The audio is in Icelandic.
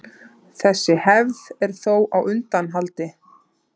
Þessi hefð er þó á undanhaldi.